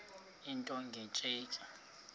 into nge tsheki